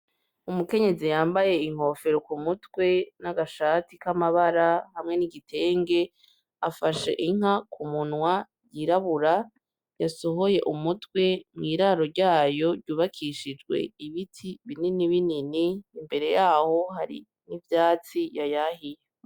Umukenyezi yambaye inkofero k'umutwe , n'agashati k'amabara hamwe n'igitenge afashe inka ku munwa yirabura yasohoye umutwe mw'iraro ryayo ryubakishijwe ibiti binini binini, imbere yaho hari n'ivyatsi yayahiye.